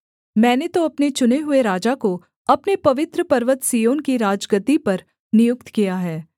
मैंने तो अपने चुने हुए राजा को अपने पवित्र पर्वत सिय्योन की राजगद्दी पर नियुक्त किया है